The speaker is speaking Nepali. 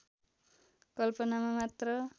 कल्पनामा मात्र